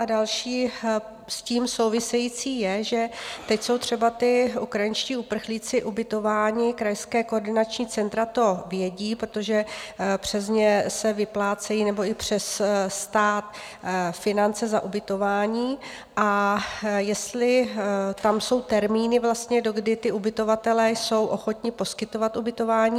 A další s tím související je, že teď jsou třeba ti ukrajinští uprchlíci ubytováni, krajská koordinační centra to vědí, protože přes ně se vyplácejí nebo i přes stát finance za ubytování, a jestli tam jsou termíny vlastně, do kdy ti ubytovatelé jsou ochotni poskytovat ubytování?